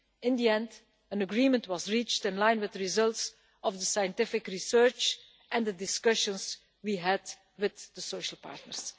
In the end, an agreement was reached in line with the results of the scientific research and the discussions we had with the social partners.